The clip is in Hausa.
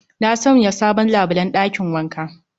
Na Sanya sabon labulen ɗakin wanka